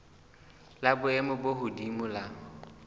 la boemo bo hodimo la